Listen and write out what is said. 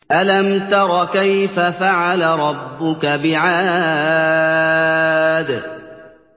أَلَمْ تَرَ كَيْفَ فَعَلَ رَبُّكَ بِعَادٍ